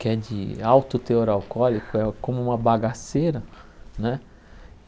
que é de alto teor alcoólico, é como uma bagaceira, né?